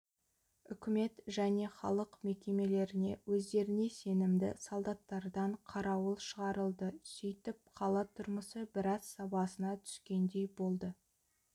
үкімет және халық мекемелеріне өздеріне сенімді солдаттардан қарауыл шығарылды сөйтіп қала тұрмысы біраз сабасына түскендей болды